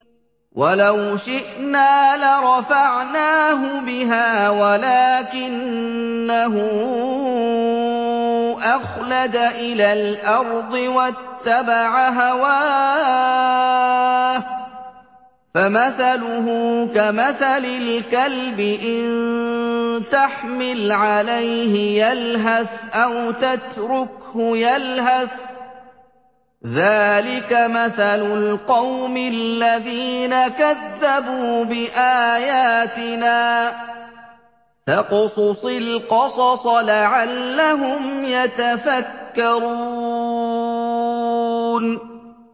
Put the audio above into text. وَلَوْ شِئْنَا لَرَفَعْنَاهُ بِهَا وَلَٰكِنَّهُ أَخْلَدَ إِلَى الْأَرْضِ وَاتَّبَعَ هَوَاهُ ۚ فَمَثَلُهُ كَمَثَلِ الْكَلْبِ إِن تَحْمِلْ عَلَيْهِ يَلْهَثْ أَوْ تَتْرُكْهُ يَلْهَث ۚ ذَّٰلِكَ مَثَلُ الْقَوْمِ الَّذِينَ كَذَّبُوا بِآيَاتِنَا ۚ فَاقْصُصِ الْقَصَصَ لَعَلَّهُمْ يَتَفَكَّرُونَ